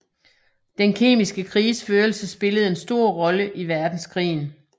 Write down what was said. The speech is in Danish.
Den kemiske krigsførelse spillede en stor rolle i verdenskrigen